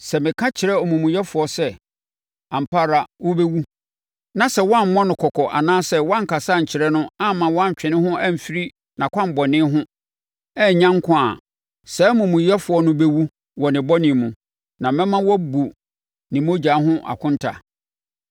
Sɛ meka kyerɛ omumuyɛfoɔ sɛ, ‘Ampa ara wobɛwu’ na sɛ woammɔ no kɔkɔ anaasɛ woankasa ankyerɛ no amma wantwe ne ho amfiri nʼakwammɔne ho annya nkwa a, saa omumuyɛfoɔ no bɛwu wɔ ne bɔne mu, na mɛma woabu ne mogya ho akonta.